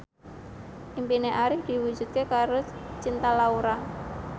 impine Arif diwujudke karo Cinta Laura